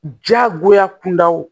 Jagoya kundaw